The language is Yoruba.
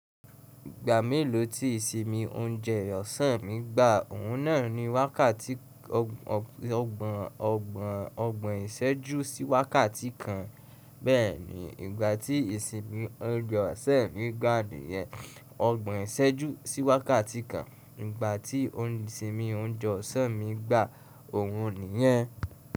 Ìgbà mélòó tí ìsinmi oúnjẹ ọ̀sán mí gbà? Òhun náà ni wákàtí ọgbọ̀n ọgbọ̀n ọgbọ̀n ìṣẹ́jú sí wákàtí kan. Bẹ́ẹ̀ni, ìgbà tí ìsinmi oúnjẹ ọ̀sán mi gba niyen ọgbọ̀n ìṣẹ́jú sí wákàtí kan. Ìgbà tí òn isinmin oúnjẹ ọ̀sán mi gba òhun nìyẹn.